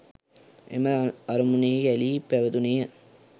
එම අරමුණෙහිම ඇලී පැවතුනේය.